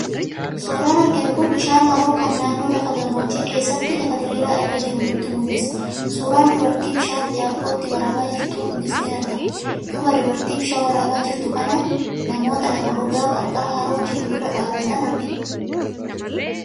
Suuraan arginu kun bishaan haroo kan naannoo lafa gammoojjii keessatti lafa diriiraa irra jiruu nutti mul'isa. Suuraan dubartii bishaan jaarkootti waraabaa jirtuus ni argama. Duuba dubartii bishaan waraabaa jirtuu kanaan namoota lafa gogaa qarqara haroo jiruu irra dhaabatan argina.